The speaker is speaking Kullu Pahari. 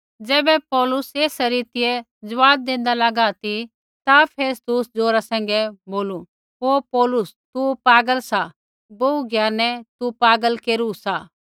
ज़ैबै पौलुस एसा रीतिऐ ज़वाब देंदा लागा ती ता फेस्तुसै ज़ोरा सैंघै बोलू हे पौलुस तू पागल सा बोहू ज्ञानै तू पागल केरू सा